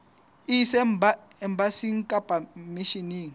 e ise embasing kapa misheneng